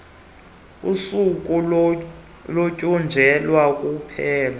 usuku olutyunjelwe ukuphela